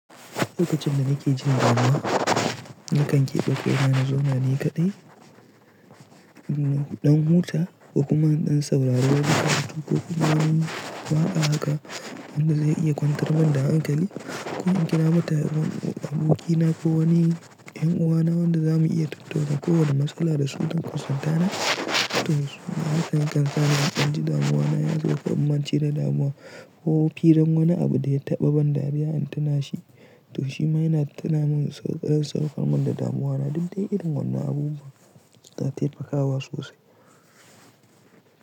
Lokacin da nake jin damuwa, nakan keɓe koya na zona ni kaɗai, ɗan huta ko kuma in saurari wani katako. Ko kuma Wani waka haka, wanda zai iya kwantar min da hankali. Ko in kira matar abokina ko wani 'yan uwana wanda za mu iya tattaunawa kowane matsala da su don kusanta na To su ma hakan yakansa ni in danji, damuwana ya sauka. In mance da damuwa ko firan wani abu da ya taɓa ban dariya in tuna shi. To shi ma yana tuna min ƙarar saukar min da damuwana. Duk dai irin wannan abubuwa suna taimakawa sosai.